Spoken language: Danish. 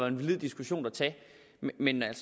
en valid diskussion at tage men